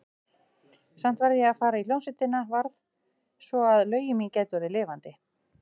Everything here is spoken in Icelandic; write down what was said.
Samt varð ég að fara í hljómsveitina, varð, svo að lögin mín gætu orðið lifandi.